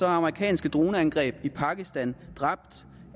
amerikanske droneangreb i pakistan